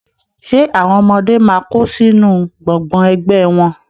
Ṣe àwọn ọmọdé máa kó sínú gbọ́ngbọ̀n ẹgbẹ wọn?